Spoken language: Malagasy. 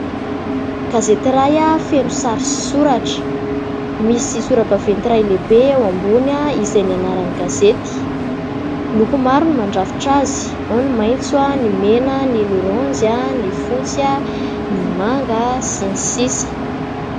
Gazety iray feno sary sy soratra misy sora-baventy iray lehibe ao ambony izay ny anaran'ny gazety. Loko maro no mandrafitra azy: ny maintso, ny mena, ny loranjy, ny fotsy, ny manga sy ny sisa.